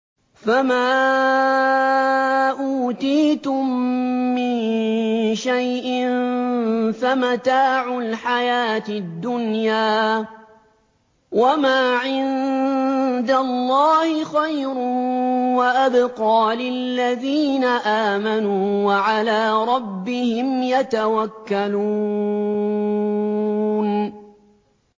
فَمَا أُوتِيتُم مِّن شَيْءٍ فَمَتَاعُ الْحَيَاةِ الدُّنْيَا ۖ وَمَا عِندَ اللَّهِ خَيْرٌ وَأَبْقَىٰ لِلَّذِينَ آمَنُوا وَعَلَىٰ رَبِّهِمْ يَتَوَكَّلُونَ